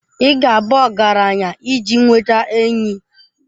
Ị ga-abụ ọgaranya iji nweta enyi.